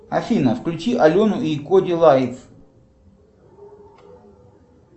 афина включи алену и коди лайф